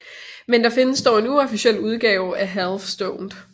Men der findes dog en uofficiel udgave af Half Stoned